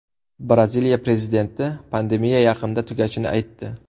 Braziliya prezidenti pandemiya yaqinda tugashini aytdi.